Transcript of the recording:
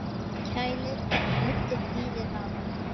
Kælið og nuddið hýðið af.